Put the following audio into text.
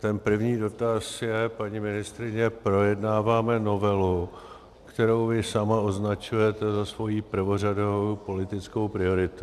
Ten první dotaz je, paní ministryně - projednáváme novelu, kterou vy sama označujete za svoji prvořadou politickou prioritu.